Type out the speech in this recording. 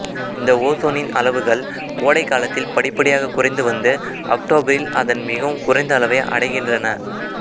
இந்த ஓசோனின் அளவுகள் கோடைகாலத்தில் படிப்படியாக குறைந்து வந்து அக்டோபரில் அதன் மிகவும் குறைந்த அளவை அடைகின்றன